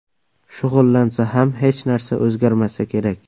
Shug‘ullansa ham hech narsa o‘zgarmasa kerak.